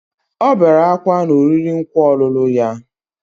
Ọ bere ákwá na oriri nkwa ọlụlụ ya